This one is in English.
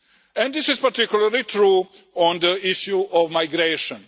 And this is particularly true on the issue of migration.